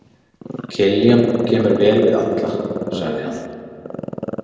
Kiljan kemur vel við alla, sagði hann.